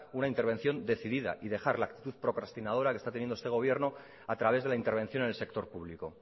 una intervención decidida y dejar la actitud procrastinadora que está teniendo este gobierno a través de la intervención en el sector público